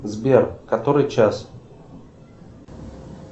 сбер который час